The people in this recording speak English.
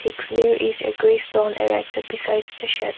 where is besides the shed.